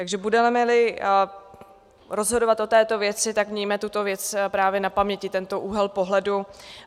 Takže budeme-li rozhodovat o této věci, tak mějme tuto věc právě na paměti, tento úhel pohledu.